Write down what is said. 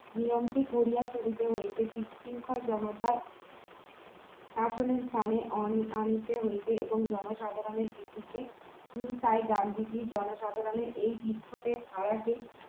নিয়ন্ত্রণ করিয়া করিতে হইবে বিশৃঙ্খল জনতার শাসনের কানে আনিতে হইবে এবং জনসাধারণের ভিতিকে উম তাই গান্ধীজি এই জনসাধারণের বিক্ষোভের ধারাকে